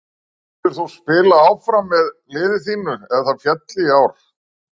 Myndir þú spila áfram með liði þínu ef það félli í ár?